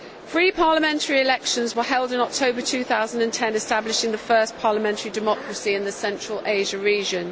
Free parliamentary elections were held in October 2010, establishing the first parliamentary democracy in the Central Asia region.